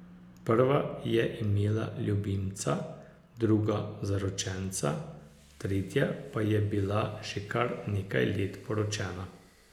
Prva je imela ljubimca, druga zaročenca, tretja pa je bila že kar nekaj let poročena.